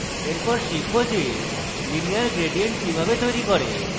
এরপর শিখব যে linear gradient কিভাবে তৈরী করে